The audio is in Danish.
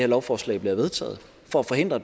lovforslag bliver vedtaget for at forhindre